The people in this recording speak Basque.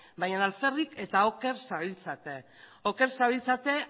baina alferrik eta oker zabiltzate oker zabiltzate